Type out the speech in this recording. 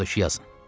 O da ki, yazın.